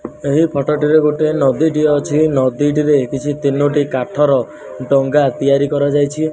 ଏହି ଫଟୋ ଟିରେ ଗୋଟିଏ ନଦୀଟିଏ ଅଛି ନଦୀଟିରେ କିଛି ତିନୋଟି କାଠର ଡଙ୍ଗା ତିଆରି କରାଯାଇଛି।